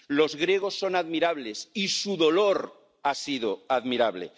Los griegos son admirables, y su dolor ha sido admirable.